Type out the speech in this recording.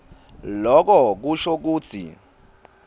loko kusho kutsi